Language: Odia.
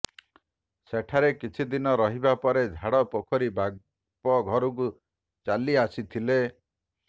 ସେଠାରେ କିଛି ଦିନ ରହିବା ପରେ ଝାଡପୋଖରୀ ବାପ ଘରକୁ ଚାଲି ଆସିଥିଲେ